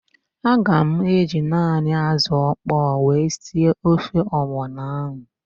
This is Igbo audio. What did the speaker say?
Aga m eji naanị ázụ̀ ọkpọọ wee sie ofe ọgbọnọ ahụ.